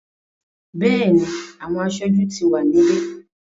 Bẹ́ẹ̀ni, àwọn aṣojú ti wà níbí.